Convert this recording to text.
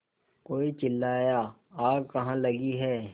कोई चिल्लाया आग कहाँ लगी है